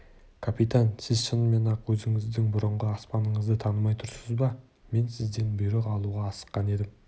капитан сіз шынымен-ақ өзіңіздің бұрынғы аспаныңызды танымай тұрсыз ба мен сізден бұйрық алуға асыққан едім